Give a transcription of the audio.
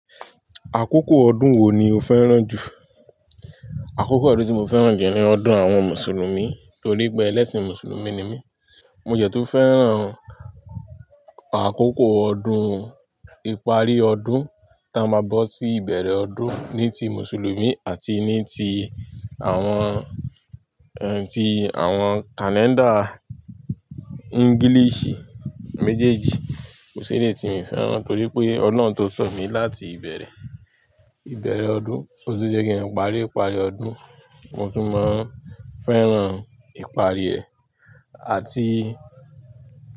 Àkókò ọdún wo ni o fẹ́ràn jù? Àkókò ọdún tí mo fẹ́ràn ju ní ọdún àwọn Mùsùlùmí torí pé ẹlẹ́sìn Mùsùlùmí ni mí. Mo de tun fẹ́ràn àkókò ọdún ìparí ọdún tí a máa bọ́ sí ìbẹ̀rẹ̀ ọdún ní ti Mùsùlùmí àti ní ti àwọn, ẹ́ ti àwọn kàléńdà ẹ́ English méjèèjì kò sí eleyi ti mi fẹ́ràn torí pé ọ̀lohun tó sọ mí láti ìbẹ̀rẹ̀, ìbẹ̀rẹ̀ ọdún tótun jẹ́ kí n parí, iparí ọdún, mo tún máa ń fẹ́ràn ìparí ẹ̀ àti.